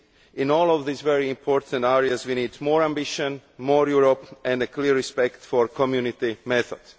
In all of these very important areas we need more ambition, more Europe, and a clear respect for the Community method.